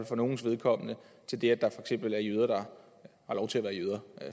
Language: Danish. for nogles vedkommende til det at der for eksempel er jøder